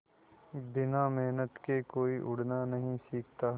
बिना मेहनत के कोई उड़ना नहीं सीखता